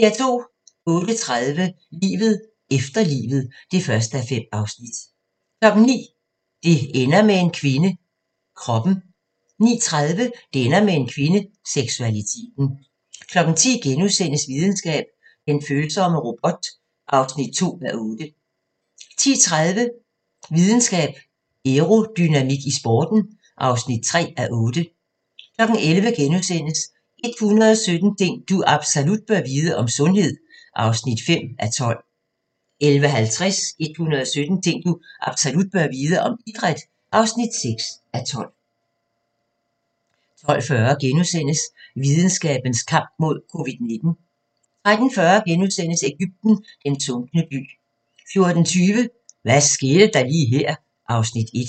08:30: Livet efter livet (1:5) 09:00: Det ender med en kvinde – Kroppen 09:30: Det ender med en kvinde – Seksualiteten 10:00: Videnskab: Den følsomme robot (2:8)* 10:30: Videnskab: Aerodynamik i sporten (3:8) 11:00: 117 ting du absolut bør vide - om sundhed (5:12)* 11:50: 117 ting du absolut bør vide - om idræt (6:12) 12:40: Videnskabens kamp mod Covid-19 * 13:40: Egypten – den sunkne by * 14:20: Hvad skete der lige her? (Afs. 1)